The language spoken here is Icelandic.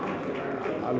alveg